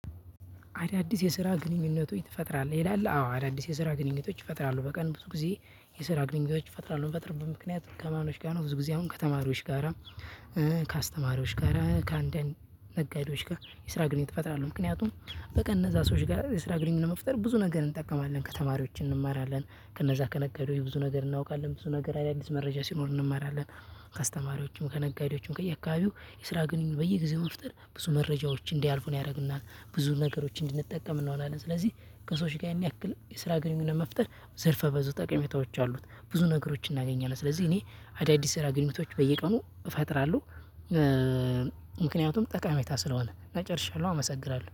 አዳዲስ የስራ ግንኙነቶች ትፈጥራለህ ይላል? አዎ አዳዲስ የስራ ግንኙነቶች ይፈጥራሉ በቀን ብዙ ጊዜ የስራ ግንኙነቶች ይፈጥራሉ እንፈጥር በምክንያት ከማኖች ጋር ነው። ብዙ ጊዜ አሁን ከተማሪዎች ጋር ከአስተማሪዎች ጋር ከአንዳንድ ነጋዴዎች ጋር የስራ ግንኙነት እፈጥራለሁ። ምክንያቱም በቀን እነዛ ሰዎች ጋር የስራ ግንኙነት መፍጠር ብዙ ነገር እንጠቀማለን ከተማሪዎች እንማራለን ከነዛ ከነገዴው ብዙ ነገር እናውቃለን ብዙ ነገር አዳዲስ መረጃ ሲኖር እንማራለን። ከስተማሪዎችም ከነጋዴዎችም ከየካባቢው የስራ ግንኙነት በየጊዜው መፍጠር ብዙ መረጃዎች እንዳያልፉ ነው ያደረጉና ብዙ ነገሮች እንድንጠቀም እንሆናለን። ስለዚህ ከሰዎች ጋር ያን ያክል የስራ ግንኙነት መፍጠር ዘርፈ በዙ ጠቀሜታዎች አሉት ብዙ ነገሮችን እናገኛለን። ስለዚህ እኔ አዳዲስ ስራ ግንኙነቶች በየቀኑ እፈጥራለሁ። ምክንያቱም ጠቃሚታ ስለሆነ እና ጨርሻለሁ አመሰግራለሁ